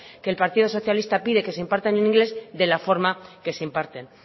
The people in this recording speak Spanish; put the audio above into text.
que el partido socialista pide que se imparta en inglés de la forma que se imparten